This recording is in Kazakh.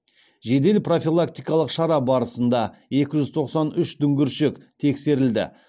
жедел профилактикалық шара барысында екі жүз тоқсан үш дүңгіршек тексерілді